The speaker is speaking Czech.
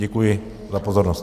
Děkuji za pozornost.